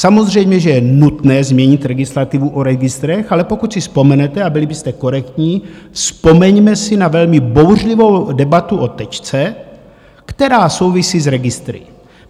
Samozřejmě že je nutné změnit legislativu o registrech, ale pokud si vzpomenete a byli byste korektní, vzpomeňme si na velmi bouřlivou debatu o Tečce, která souvisí s registry.